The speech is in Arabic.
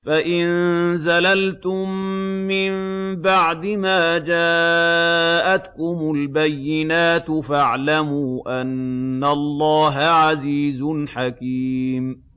فَإِن زَلَلْتُم مِّن بَعْدِ مَا جَاءَتْكُمُ الْبَيِّنَاتُ فَاعْلَمُوا أَنَّ اللَّهَ عَزِيزٌ حَكِيمٌ